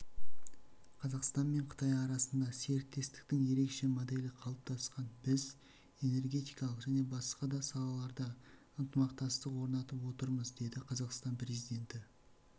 қазақстан мен қытай арасында серіктестіктің ерекше моделі қалыптасқан біз энергетикалық және басқа да салаларда ынтымақтастық орнатып отырмыз деді қазақстан президенті